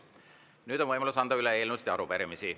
Nüüd on võimalus anda üle eelnõusid ja arupärimisi.